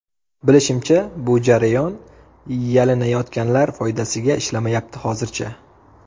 Bilishimcha, bu jarayon yalinayotganlar foydasiga ishlamayapti hozircha.